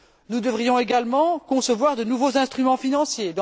Nous devrions également concevoir de nouveaux instruments financiers.